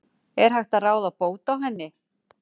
Er hægt að ráða bót á henni?